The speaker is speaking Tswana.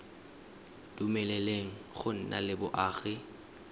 dumeleleng go nna le boagi